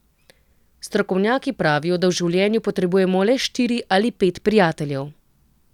Strokovnjaki pravijo, da v življenju potrebujemo le štiri ali pet prijateljev.